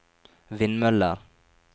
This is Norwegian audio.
vindmøller